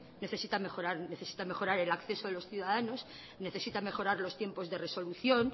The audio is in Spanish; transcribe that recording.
necesita mejorar y necesita mejorar el acceso a los ciudadanos necesita mejorar los tiempos de resolución